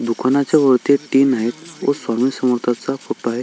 दुकानाच्या वरती एक आहेत व स्वामी समर्थांचा फोटो आहे.